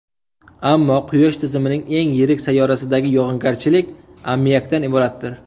Ammo Quyosh tizimining eng yirik sayyorasidagi yog‘ingarchilik ammiakdan iboratdir.